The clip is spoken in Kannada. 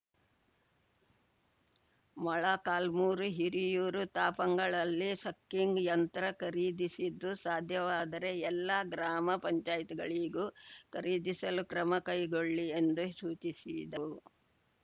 ಮೊಳಕಾಲ್ಮೂರು ಹಿರಿಯೂರು ತಾಪಂಗಳಲ್ಲಿ ಸಕ್ಕಿಂಗ್‌ ಯಂತ್ರ ಖರೀದಿಸಿದ್ದು ಸಾಧ್ಯವಾದರೆ ಎಲ್ಲ ಗ್ರಾಮ ಪಂಚಾಯತ್ ಗಳಿಗೂ ಖರೀದಿಸಲು ಕ್ರಮ ಕೈಗೊಳ್ಳಿ ಎಂದು ಸೂಚಿಸಿದರು